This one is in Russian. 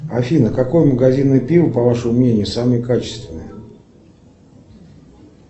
афина какое магазинное пиво по вашему мнению самое качественное